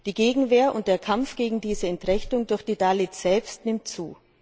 Die Gegenwehr und der Kampf gegen diese Entrechtung durch die Dalits selbst nehmen zu.